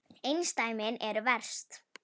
Einsdæmin eru verst.